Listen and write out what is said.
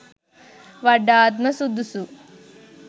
වඩාත්ම සුදුසු.